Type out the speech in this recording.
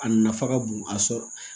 A nafa ka bon a sɔrɔ